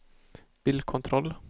bilkontroll